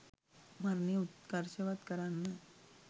මරණය උත්කර්ෂවත් කරන්න